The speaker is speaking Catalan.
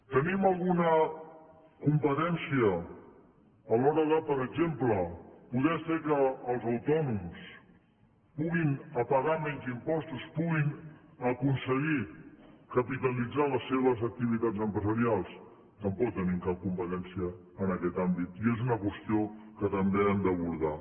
tenim alguna competència a l’hora de per exemple poder fer que els autònoms puguin pagar menys impostos puguin aconseguir capitalitzar les seves activitats empresarials tampoc tenim cap competència en aquest àmbit i és una qüestió que també hem d’abordar